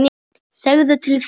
Segðu til þín!